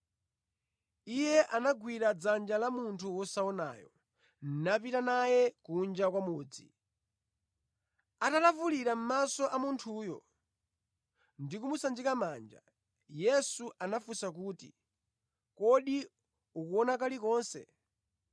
Iye anagwira dzanja la munthu wosaonayo napita naye kunja kwa mudzi. Atalavulira mʼmaso a munthuyo ndi kumusanjika manja, Yesu anafunsa kuti, “Kodi ukuona kalikonse?”